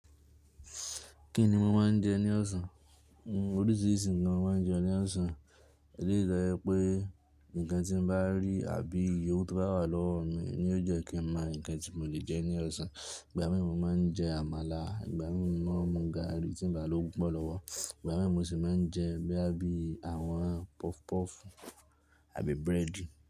Kí ni mo máa ń jẹ ní ọ̀sán? Oríṣiríṣi nkàn mo máa ń jẹ ní ọ̀sán, ìdí rè tojẹ́ pé nǹkan tí mo bá rí àbí iyèwú tó bá wà lọ́wọ́ mi ni ó jẹ́ kí ń mọ nǹkan tí mo lè jẹ ní ọ̀sán. Ìgbà mí mo máa ń jẹ àmàlà, ìgbà mi mọ́ ń mu gààrí tí ń ba lówó pupọ́ lọ́wọ́, ìgbà mí mo sì máa ń jẹ bíi àwọn puff puff àbí búrẹ́dì.